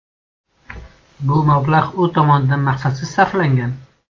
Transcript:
Bu mablag‘ u tomonidan maqsadsiz sarflangan.